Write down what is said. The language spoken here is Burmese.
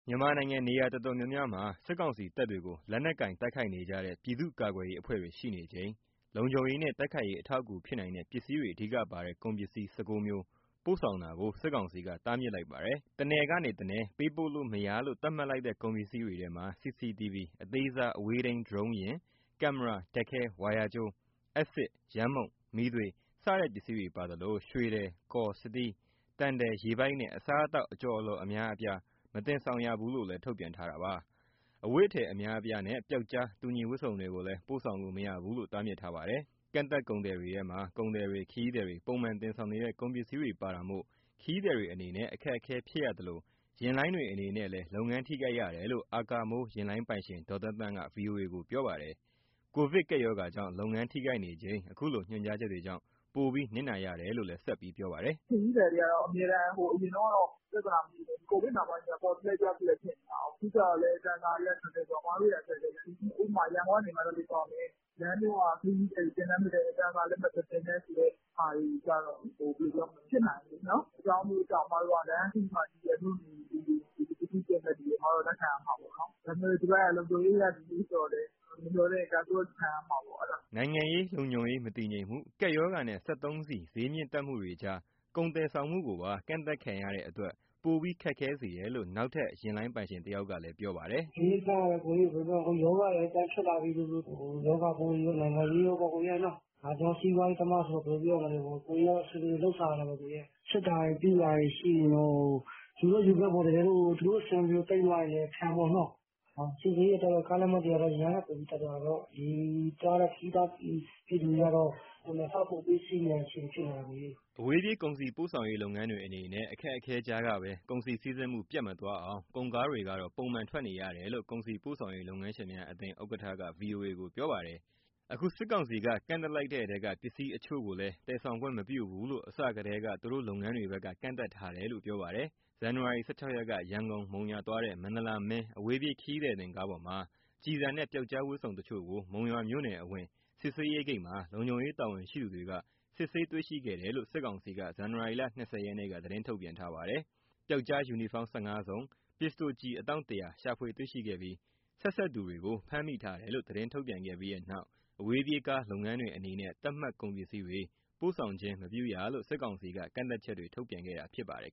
မြန်မာနိုင်ငံ နေရာတော်တော်များများမှာ စစ်ကောင်စီတပ်တွေကိုလက်နက်ကိုင် တိုက်ခိုက်နေကြတဲ့ ပြည်သူ့ကာကွယ်ရေးအဖွဲ့တွေရှိနေချိန် လုံခြုံရေးနဲ့ တိုက်ခိုက်ရေးအထောက်အကူဖြစ်နိုင်တဲ့ ပစ္စည်းတွေအဓိကပါတဲ့ ကုန်ပစ္စည်း ၁၉မျိုးပို့ဆောင်တာကို စစ်ကောင်စီက တားမြစ်လိုက်ပါတယ်။ တနယ်ကနေ တနယ် ပေးပို့လို့မရလို့ သတ်မှတ်လိုက်တဲ့ ကုန်ပစ္စည်းတွေထဲမှာ CCTV, အသေးစား အဝေးထိန်း Drone ယာဉ်၊ ကင်မရာ၊ ဓာတ်ခဲ၊ ဝါယာကြိုး၊ အက်ဆစ်၊ ယမ်းမှုန့်၊ မီးသွေးစတဲ့ ပစ္စည်းတွေပါသလို ရွှေထည်၊ ကော်၊ စတီး၊ သံထည်၊ ရေပိုက်နဲ့ အစားအသောက် အကြော်အလှော် အများအပြား မတင်ဆောင်ရဘူးလို့ ထုတ်ပြန်ထားတာပါ။ အဝတ်အထည် အများအပြားနဲ့ ပျောက်ကြား တူညီဝတ်စုံတွေကိုလည်း ပို့ဆောင်လို့ မရဘူးလို့ တားမြစ်ပါတယ်။ ကန့်သတ်ကုန်တွေထဲမှာ ကုန်သည်တွေ၊ ခရီးသည်တွေပုံမှန်တင်ဆောင်နေတဲ့ ကုန်ပစ္စည်းတွေပါတာမို့ ခရီးသည်တွေအနေနဲ့ အခက်အခဲဖြစ်ရသလို၊ ယာဉ်လိုင်းတွေအနေနဲ့လည်း လုပ်ငန်းထိခိုက်ရတယ်လို့ အာကာမိုး ယာဉ်လိုင်းပိုင်ရှင် ဒေါ်သန်းသန်းက ဗွီအိုအေကို ပြောပါတယ်။ ကိုဗစ်ကပ်ရောဂါကြောင့် လုပ်ငန်းထိခိုက်နေချိန် အခုလိုညွှန်ကြားချက်တွေကြောင့် ပိုပြီးနစ်နာရတယ်လို့ ပြောပါတယ်။ “ ခရီးသည်တွေကတော့ အရင်တုန်းကတော့ ပြဿာနာမရှိပေမဲ့ ကိုဗစ်နောက်ပိုင်းမှာ ပေါ်တလှည့်၊ ပျောက်တလှည့် ဖြစ်နေတာကိုး။ အခုကျတော့ တန်ဆာတွေက မတင်နဲ့ဆိုတော့ ခက်ခဲတယ်လေ။ ဥပမာ ရန်ကုန်ကနေ မန္တလေးသွားမယ် လမ်းကြောကခရီးသည်တွေ တင်လည်းမတင်နဲ့ တန်ဆာလည်း မတင်နဲ့ဆိုတဲ့ ဟာတွေကျတော့လေ မဖြစ်နိုင်ဘူးလေ။ အကြောင်းအမျိုးမျိုးကြောင့် လမ်းခရီးမှာ မြို့နယ်ကလူတွေ၊ ပစ္စည်းတင်မယ့်လူတွေ လက်ခံရမှာပဲပေါ့။ ဒါပေမဲ့ ဒီဘက်က လုံခြုံရေးအရ ဒီလိုမျိုးဆိုတော့လည်း သူ့ဖာသူခံရမှာပါ့။” နိုင်ငံရေး၊ လုံခြုံရေး မတည်ငြိမ်မှု၊ ကပ်ရောဂါနဲ့ စက်သုံးဆီဈေးမြင့်တက်မှုတွေကြား ကုန်သယ်ဆောင်မှုကိုပါ ကန့်သတ်ခံရတဲ့အတွက် ပိုပြီးခက်ခဲစေတယ်လို့ နောက်ထပ် ယာဉ်လိုင်းပိုင်ရှင်တယောက်က ပြောပါတယ်။ “ အဓိကကတော့ ရောဂါတွေ ပြန်ဖြစ်လာပြီဆိုတော့ ရောဂါပိုးတွေရော၊ နိုင်ငံရေးရောပေါ့နော်။ ကျနော်က စီးပွားရေးသမားဆိုတော့ ဘယ်လိုပြောမလဲ ကိုယ်တွေက အဆင်ပြေသလို လုပ်စားရတာပေါ့။ စစ်တာတွေ ပြုတာတွေရှိရင်တော့… ယူတော့ယူခဲ့ပေါ့နော် သူတို့အဆင်မပြေလို့ သိမ်းသွားရင်လည်း ခံပေါ့နော်။ ဆီဈေးတွေတက်တော့ ကားလက်မှတ်တွေကလည်း အရင်ကထက်တက်တာပေါ့။ ခရီးသွား ပြည်သူတွေကတော့ နှစ်ဆပိုပေးစီးရတဲ့ အခြေအနေ ဖြစ်နေတာပေါ့။” အဝေးပြေး ကုန်စည်ပို့ဆောင်ရေးလုပ်ငန်းတွေအနေနဲ့ အခက်အခဲကြားကပဲ ကုန်စည်စီးဆင်းမှု ပြတ်မသွားအောင် ကုန်ကားတွေကတော့ ပုံမှန်ထွက်နေရတယ်လို့ ကုန်စည်ပို့ဆောင်ရေး လုပ်ငန်းရှင်များအသင်း ဥက္ကဋ္ဌက ဗွီအိုအေကို ပြောပါတယ်။ အခုစစ်ကောင်စစ်က ကန့်သတ်လိုက်တဲ့ထဲက ပစ္စည်းတချို့ကိုလည်း သယ်ဆောင်ခွင့်မပြုဘူးလို့ အစထဲက သူတို့လုပ်ငန်းတွေဘက်က ကန့်သတ်ထားတယ်လို့ ပြောပါတယ်။ ဇန်နဝါရီ ၁၆ ရက်က ရန်ကုန်- မုံရွာ သွားတဲ့ မန္တလာမင်း အဝေးပြေးခရီးသည်တင်ကားပေါ်မှာ ကျည်ဆံနဲ့ ပြောက်ကျားဝတ်စုံတချို့ ကို မုံရွာမြို့နယ်အဝင် စစ်ဆေးရေးဂိတ်မှာ လုံခြုံရေးတာဝန်ရှိသူတွေ စစ်ဆေးတွေ့ခဲ့တယ်လို့ စစ်ကောင်စီက ဇန်နဝါရီလ ၂ဝ က သတင်းထုတ်ပြန်ပါတယ်။ ပြောက်ကျားယူနီဖောင်း ၁၅ စုံ၊ ပစ္စတိုကျည် အတောင့် ၁ဝဝ ရှာဖွေတွေ့ရှိခဲ့ပြီး ဆက်စပ်သူတွေကို ဖမ်းမိထားတယ်လို့ သတင်းထုတ်ပြန်ခဲ့ပြီးနောက် အဝေးပြေးကားလုပ်ငန်းတွေအနေနဲ့ သတ်မှတ်ကုန်ပစ္စည်းတွေ ပို့ဆောင်ခြင်းမပြုရလို့ စစ်ကောင်စီ ကန့်သတ်ချက်တွေ ထုတ်ပြန်ခဲ့တာဖြစ်ပါတယ်